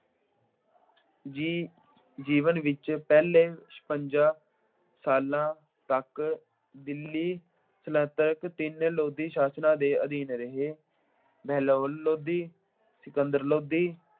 ਜੀ ਅਹ ਜੀਵਨ ਵਿੱਚ ਪਹਿਲੇ ਛਪੰਜਾ ਸਾਲਾਂ ਤੱਕ ਦਿੱਲੀ ਸਲਤਨਤ ਤਿੰਨ ਲੋਧੀ ਸ਼ਾਸਨਾਂ ਦੇ ਅਧੀਨ ਰਹੀ ਹੈ। ਬਹਿਲੋਲ ਲੋਧੀ, ਸਿਕੰਦਰ ਲੋਧੀ